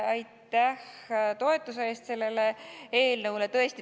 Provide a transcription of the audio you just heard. Aitäh toetuse eest sellele eelnõule!